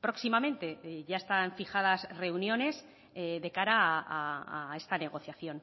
próximamente ya están fijadas reuniones de cara a esta negociación